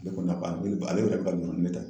ale ne ta